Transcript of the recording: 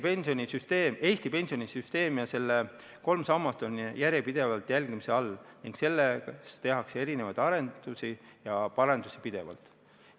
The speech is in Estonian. Eesti pensionisüsteem ja selle kolm sammast on järjepidevalt jälgimise all ning selles tehakse erinevaid arendusi ja parendusi pidevalt.